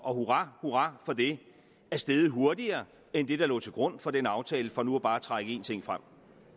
og hurra hurra for det er steget hurtigere end det der lå til grund for den aftale for nu bare at trække én ting frem